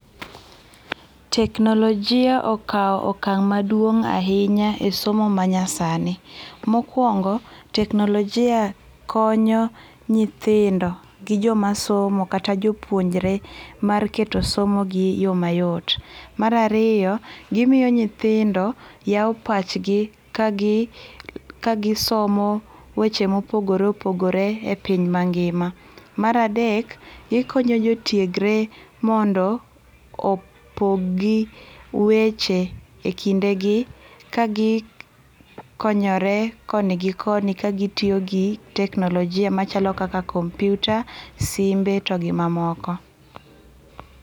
Teknolojia okaw okang maduong ahinya e somo manyasani. Mokuongo teknolojia konyo nyithindo gi jomasomo kata jopuonjre mar keto somo gi yoo mayot. Mar ariyo gimiyo nyithindo yao pachgi kagi ,kagi somo weche ma opogore opogore e piny mangima. Mar adek gikonyo jo tiegre mondo opogi weche e kinde gi ka gikonyore koni gi koni kagitiyo gi teknolojia machalo kaka kompyuta, simbe to gi mamoko